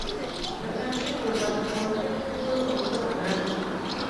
закажи колбасу докторскую пятьсот грамм